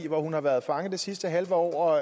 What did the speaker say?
hvor hun har været fanget det sidste halve år og